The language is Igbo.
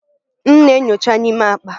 M na-enyocha n'ime akpa.